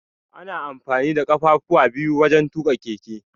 Ana amfani da ƙafafuwa biyu wajan tuƙa keke.